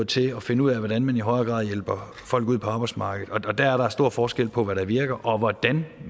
til at finde ud af hvordan man i højere grad hjælper folk ud på arbejdsmarkedet og der er der stor forskel på hvad der virker og hvordan